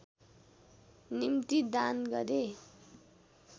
निम्ति दान गरे